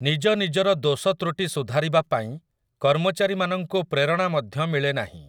ନିଜ ନିଜର ଦୋଷତୃଟି ସୁଧାରିବା ପାଇଁ କର୍ମଚାରୀମାନଙ୍କୁ ପ୍ରେରଣା ମଧ୍ୟ ମିଳେ ନାହିଁ ।